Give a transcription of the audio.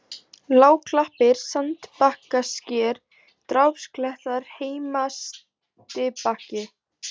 Lágklappir, Sandbakkasker, Drápsklettar, Heimastibakki